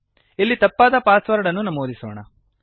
ಇಲ್ಲಿ ತಪ್ಪಾದ password ಅನ್ನು ನಮೂದಿಸೋಣ